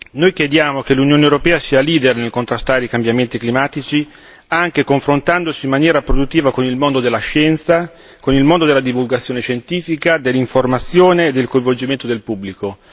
Noi chiediamo che l'Unione europea sia leader nel contrastare i cambiamenti climatici, anche confrontandosi in maniera produttiva con il mondo della scienza, con il mondo della divulgazione scientifica, dell'informazione e con il coinvolgimento del pubblico.